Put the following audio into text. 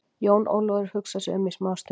Jón Ólafur hugsaði sig um smá stund.